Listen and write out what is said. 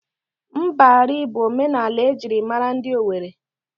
Mbari bụ omenala ejịrị maara ndị Owere.